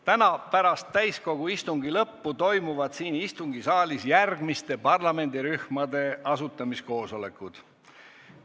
Täna pärast täiskogu istungi lõppu toimuvad siin istungisaalis järgmiste parlamendirühmade asutamiskoosolekud.